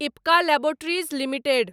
Ipca laboratories limited